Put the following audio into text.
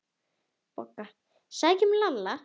BOGGA: Sækjum Lalla!